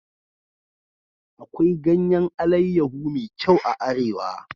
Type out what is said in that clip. Akwai ganyan alayyahu me kyau a arewa